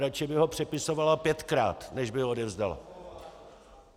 Radši by ho přepisovala pětkrát, než by ho odevzdala.